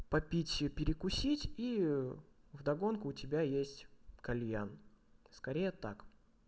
попить и перекусить и в догонку у тебя есть кальян скорее так